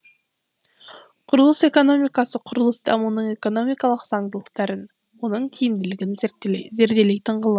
құрылыс экономикасы құрылыс дамуының экономикалық заңдылықтарын оның тиімділігін зерделейтін ғылым